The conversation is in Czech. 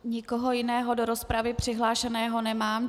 Nikoho jiného do rozpravy přihlášeného nemám.